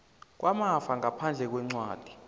kwamafa ngaphandle kwencwadi